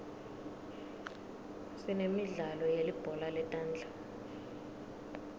sinemidlalo yelibhola letandla